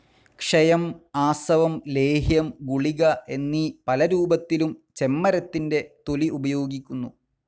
ക്ഷയം, ആസവം, ലേഹ്യം, ഗുളിക എന്നീ പലരൂപത്തിലും ചെമ്മരത്തിൻ്റെ തൊലി ഉപയോഗിക്കുന്നു.